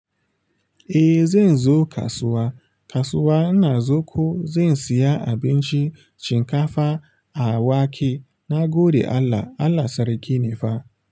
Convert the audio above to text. Eh zan zo kasuwa, kasuwa ina zu ko zan siya abinci shinkafa a wake. Na gode Allah, Allah sarki ne fa.